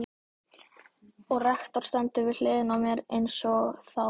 Og rektor stendur við hliðina á mér einsog þá.